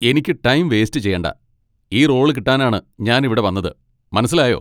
എനിക്ക് time waste ചെയ്യണ്ട! ഈ റോള് കിട്ടാനാണ് ഞാനിവിടെ വന്നത്. മനസ്സിലായോ?